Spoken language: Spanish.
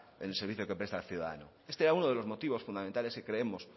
en el servicio que presta al ciudadano este era uno de los motivos fundamentales que creemos